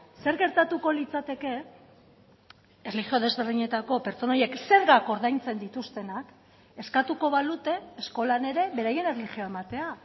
zer gertatuko litzateke erlijio desberdinetako pertsona horiek zergak ordaintzen dituztenak eskatuko balute eskolan ere beraien erlijioa ematea